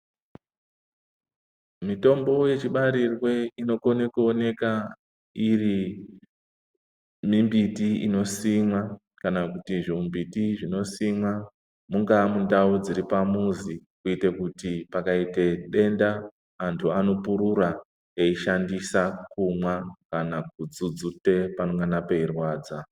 Mitombo yechibarirwe inokone kuoneka iri mimbiti inosimwa, kana kuti zvimimbiti zvinosimwa ,mungaa mundau dziri pamuzi, kuite kuti pakaite denda, antu anopurura, eishandisa, omwa, kana kudzudzute panongana peirwadza.